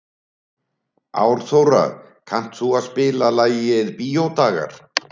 Árþóra, kanntu að spila lagið „Bíódagar“?